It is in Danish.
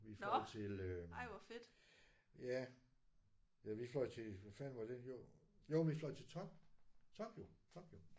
Vi fløj til ja ja vi fløj til hvor fanden var det jo jo vi fløj til Tokyo Tokyo